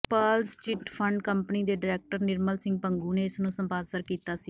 Pearls chit fund company ਦੇ director Nirmal Singh Bhangu ਨੇ ਇਸ ਨੂੰ ਸਪਾਂਸਰ ਕੀਤਾ ਸੀ